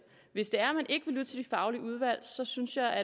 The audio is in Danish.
hvis det er at man ikke vil lytte til de faglige udvalg synes jeg at